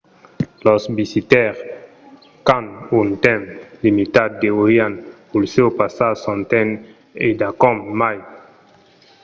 los visitaires qu’an un temps limitat deurián puslèu passar son temps endacòm mai